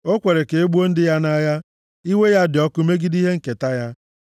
O kwere ka e gbuo ndị ya nʼagha; iwe ya dị ọkụ megide ihe nketa ya.